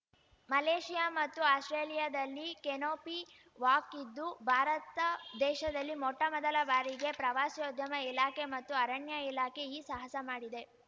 Malaysia ಮತ್ತು ಆಸ್ಪ್ರೇಲಿಯಾದಲ್ಲಿ canopy walk ಇದ್ದು ಭಾರತ ದೇಶದಲ್ಲಿ ಮೊಟ್ಟಮೊದಲ ಬಾರಿಗೆ ಪ್ರವಾಸೋದ್ಯಮ ಇಲಾಖೆ ಮತ್ತು ಅರಣ್ಯ ಇಲಾಖೆ ಈ ಸಾಹಸ ಮಾಡಿದೆ